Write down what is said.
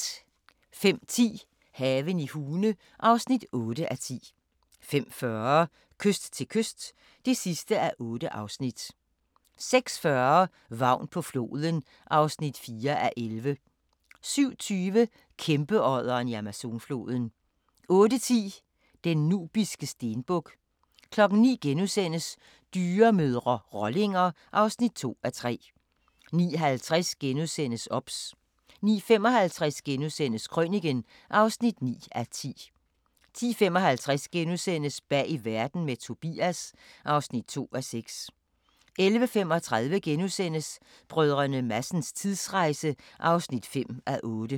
05:10: Haven i Hune (8:10) 05:40: Kyst til kyst (8:8) 06:40: Vagn på floden (4:11) 07:20: Kæmpeodderen i Amazonfloden 08:10: Den nubiske stenbuk 09:00: Dyremødre – rollinger (2:3)* 09:50: OBS * 09:55: Krøniken (9:10)* 10:55: Bag Verden – med Tobias (2:6)* 11:35: Brdr. Madsens tidsrejse (5:8)*